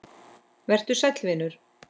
Vertu sæll, vinur.